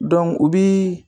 o bi.